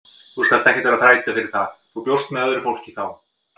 Þú skalt ekkert vera að þræta fyrir það, þú bjóst með öðru fólki þá!